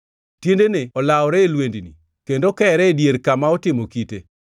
tiendene olawore e lwendni, kendo kere e dier kama otimo kite.